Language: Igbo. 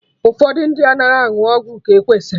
Ụfọdụ ndị anaghị aṅụ ọgwụ ka e kwesịrị